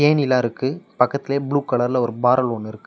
ஏணிலா இருக்கு பக்கத்திலேயே ப்ளூ கலர்ல ஒரு பாறல் ஒன்னு இருக்கு.